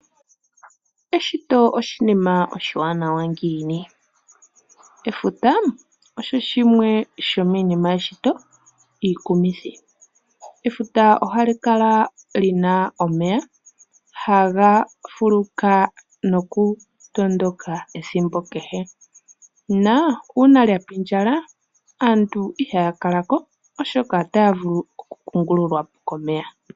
Eshito oshinima owiwanawa ngiini. Efuta osho shimwe shomiinima yeshito iikumithi, efuta ohali kala lina omeya haga fuluka nokutondoka ethimbo kehe. Na uuna lya pindjala aantu ihaya kala ko oshoka otaya vulu okukungululwa po komeya.